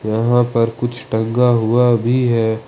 यहां पर कुछ टंगा हुआ भी है।